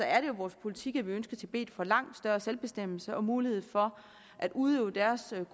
er det vores politik at vi ønsker at tibet får langt større selvbestemmelse og mulighed for at udøve deres